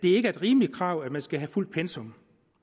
er et rimeligt krav at man skal have fuldt pensum